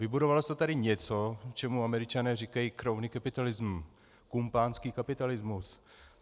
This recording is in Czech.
Vybudovalo se tady něco, čemu Američané říkají crony capitalism, kumpánský kapitalismus.